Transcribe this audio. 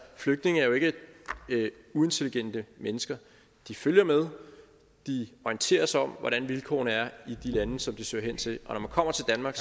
flygtninge er jo ikke uintelligente mennesker de følger med de orienterer sig om hvordan vilkårene er i de lande som de søger hen til og når man kommer til danmark